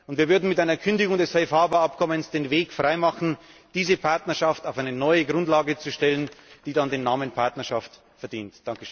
Wir würden mit einer Kündigung des Safe Harbour Abkommens den Weg freimachen, diese Partnerschaft auf eine neue Grundlage zu stellen, die dann den Namen Partnerschaft verdient.